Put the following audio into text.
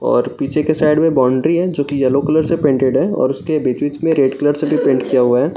और पीछे के साइड में बाउंड्री हैं जोकि येलो कलर से पेंटेड है और उसके बीच-बीच में रेड कलर से भी पेंट किया हुआ है।